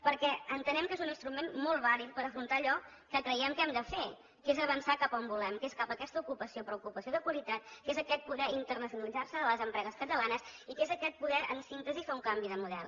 perquè entenem que és un instrument molt vàlid per afrontar allò que creiem que hem de fer que és avançar cap on volem que és cap a aquesta ocupació però ocupació de qualitat que és aquest poder internacionalitzar se de les empreses catalanes i que és aquest poder en síntesi fer un canvi de model